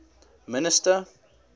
minister